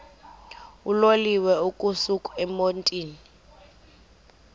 uloliwe ukusuk emontini